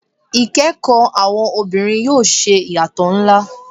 Ikẹkọ Awọn obinrin yoo ṣe iyatọ nla